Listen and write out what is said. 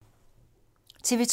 TV 2